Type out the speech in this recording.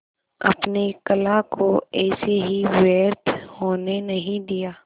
अपने कला को ऐसे ही व्यर्थ होने नहीं दिया